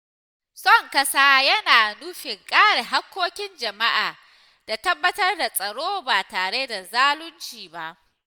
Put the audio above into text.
Son ƙasa yana nufin kare haƙƙoƙin jama’a da tabbatar da tsaro ba tare da zalunci ba.